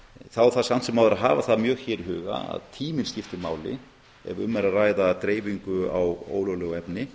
þá þarf samt sem áður að hafa það mjög hér í huga að tíminn skiptir máli ef um er að ræða dreifingu á ólöglegu efni